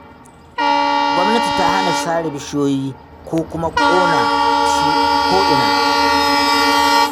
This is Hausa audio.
Gwamnati ta hana sare bishiyoyi ko kuma ƙona sua ko'ina.